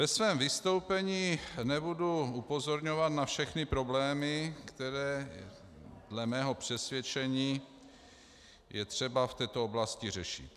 Ve svém vystoupení nebudu upozorňovat na všechny problémy, které dle mého přesvědčení je třeba v této oblasti řešit.